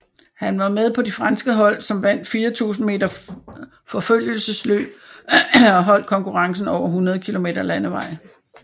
Han var med på de franske hold som vandt 4000 meter forfølgelsesløb og holdkonkurrencen over 100 kilometer landevej